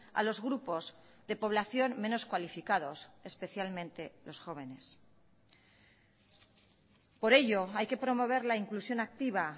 a los grupos de población menos cualificados especialmente los jóvenes por ello hay que promover la inclusión activa